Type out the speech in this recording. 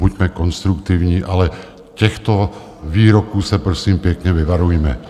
Buďme konstruktivní, ale těch výroků se prosím pěkně vyvarujme.